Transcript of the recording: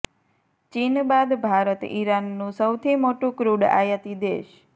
ચીન બાદ ભારત ઈરાનનું સૌથી મોટુ ક્રુડ આયાતી દેશ